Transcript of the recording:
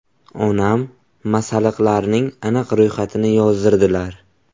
Onam masalliqlarning aniq ro‘yxatini yozdirdilar.